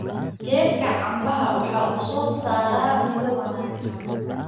Geedka canbaha waxa uu soo saaraa midho wanaagsan.